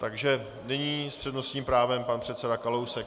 Takže nyní s přednostním právem pan předseda Kalousek.